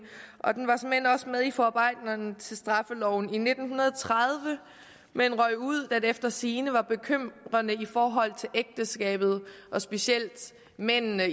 og den var såmænd også med i forarbejderne til straffeloven i nitten tredive men røg ud da det efter sigende var bekymrende i forhold til ægteskabet og specielt mændenes